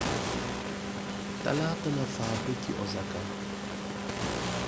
talaata la faatu ci osaka